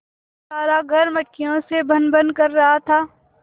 सारा घर मक्खियों से भनभन कर रहा था